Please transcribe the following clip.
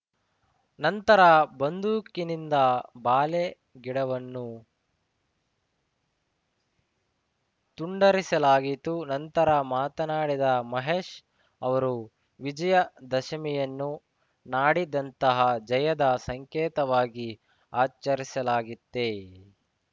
ನಂತರ ಬಂದೂಕಿನಿಂದ ಬಾಳೆ ಗಿಡವನ್ನು ತುಂಡರಿಸಲಾಯಿತು ನಂತರ ಮಾತನಾಡಿದ ಮಹೇಶ್‌ ಅವರು ವಿಜಯ ದಶಮಿಯನ್ನು ನಾಡಿದಂತಹ ಜಯದ ಸಂಕೇತವಾಗಿ ಆಚರಿಸಲಾಗಿತ್ತೆ